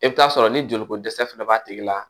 I bɛ t'a sɔrɔ ni joliko dɛsɛ fana b'a tigi la